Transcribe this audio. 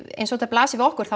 eins og þetta blasir við okkur þá